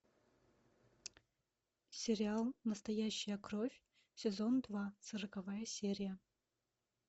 сериал настоящая кровь сезон два сороковая серия